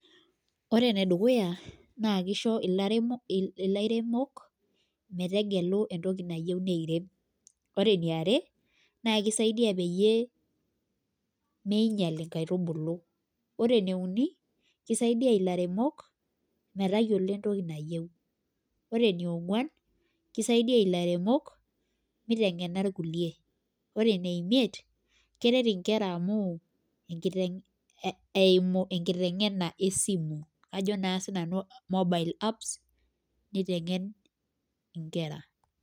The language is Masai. Ore ene dukuya naa kisho ilaremok metegelu entoki nayieu neirem. ore eniare. naa kisaidia peyie, neing'ial inkaitubulu. ore ene uni. kisaidia ilaremok, metayiolo entoki nayieu. ore enionguan kisaidia ilairemok, mitengena ilikulie. ore ene imiet Keret nkera amu, enkiteng',eimu enkiteng'ena esimu, ajo naa sii nanu mobile apps .nitengeni nkera.